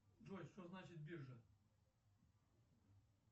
джой что значит биржа